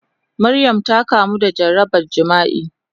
Maryam ta kamu da jarabar jima'i.